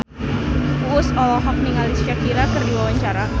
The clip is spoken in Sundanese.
Uus olohok ningali Shakira keur diwawancara